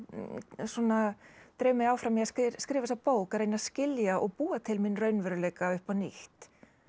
svona dreif mig áfram í að skrifa þessa bók að reyna að skilja og búa til minn raunveruleika upp á nýtt